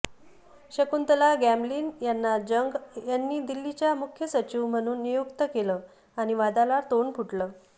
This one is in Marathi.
शकुंतला गॅमलीन यांना जंग यांनी दिल्लीच्या मुख्य सचिव म्हणून नियुक्त केलं आणि वादाला तोंड फुटलं